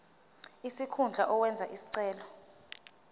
sikhundla owenze isicelo